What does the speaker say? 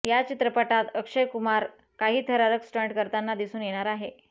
याचित्रपटात अक्षय कुमार काही थरारक स्टंट करताना दिसून येणार आहे